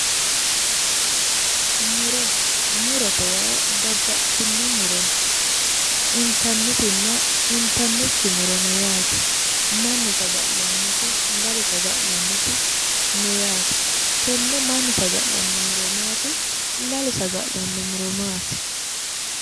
Morete yaa babbaxxitino murono intannitinna intannikki muro no yaate mannu saga'lannoti lalu saga'lannoti no yaate tenne mannu saga'lanno muro maati lalu saga'lanno muro maati